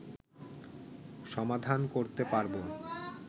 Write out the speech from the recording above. সমাধান করতে পারবো